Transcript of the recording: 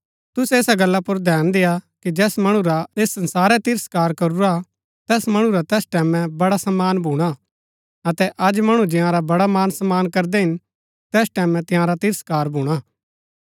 तुसै ऐसा गल्ला पुर धैन देआ कि जैस मणु रा ऐस संसारै तिरस्कार करुरा तैस मणु रा तैस टैमैं बड़ा मान सम्मान भूणा अतै अज मणु जंयारा बड़ा मान सम्मान करदै हिन तैस टैमैं तंयारा तिरस्कार भूणा